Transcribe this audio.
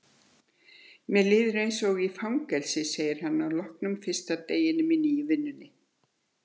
Mér líður eins og í fangelsi, segir hann að loknum fyrsta deginum í nýju vinnunni.